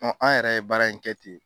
Ɔ an yɛrɛ ye baara in kɛ ten .